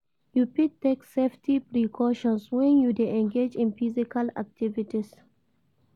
You fit take safety precautions when you dey engage in physical activities.